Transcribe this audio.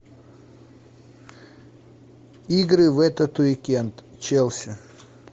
игры в этот уикэнд челси